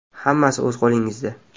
Hammasi o‘z qo‘lingizda.